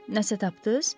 Nəsə tapdız?